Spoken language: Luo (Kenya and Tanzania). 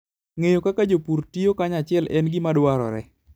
Ng'eyo kaka jopur tiyo kanyachiel en gima dwarore.